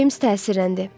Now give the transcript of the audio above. Ceyms təsirləndi.